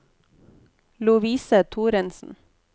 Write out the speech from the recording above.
Lovise Thoresen